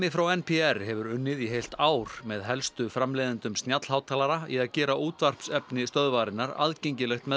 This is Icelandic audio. frá n p r hefur unnið í heilt ár með helstu framleiðendum í að gera útvarpsefni stöðvarinnar aðgengilegt með